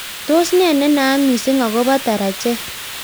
Tos ne nenaat missing akopo tarajet.